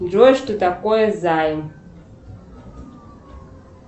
джой что такое займ